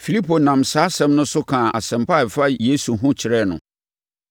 Filipo nam saa asɛm no so kaa nsɛmpa a ɛfa Yesu ho kyerɛɛ no.